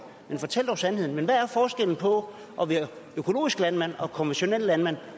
men fortæl dog sandheden men hvad er forskellen på at være økologisk landmand og konventionel landmand